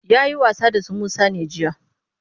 Ya yi wasa da su Musa ne jiya?